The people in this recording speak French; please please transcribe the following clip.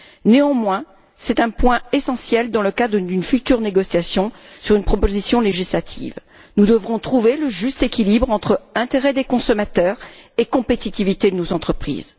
Néanmoins, c'est un point essentiel en vue d'une future négociation sur une proposition législative. Nous devrons trouver le juste équilibre entre l'intérêt des consommateurs et la compétitivité de nos entreprises.